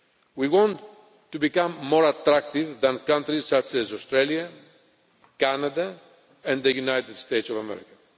We want to become more attractive than countries such as Australia, Canada and the United States of America.